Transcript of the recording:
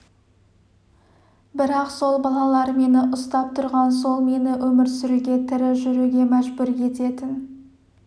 бірақ сол балалар мені ұстап тұрған сол мені өмір сүруге тірі жүруге мәжбүр ететін